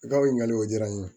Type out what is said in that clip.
I ka ɲininkali o diyara n ye